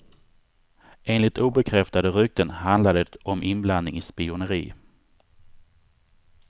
Enligt obekräftade rykten handlade det om inblandning i spioneri.